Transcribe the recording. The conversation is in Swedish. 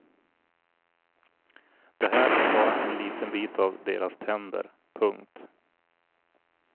Det här är bara en liten bit av deras tänder. punkt